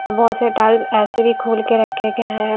अब बहुत से टल्स ऐसे भी खोल के रखे गए हैं।